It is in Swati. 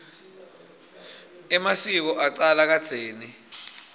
emasiko acala kadzeni